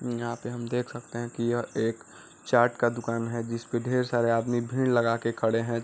यहाँ पर हम देख सकते है कि यह एक चाट का दुकान है। जिसपे ढेर सारे आदमी भीड़ लगा के खड़े हैं।